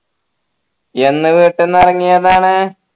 എന്ന് വീട്ടീന്നിറങ്ങിയതാണ്